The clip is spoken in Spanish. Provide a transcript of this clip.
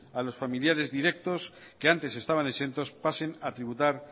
a los familiares directos que antes estaban exentos pasen a tributar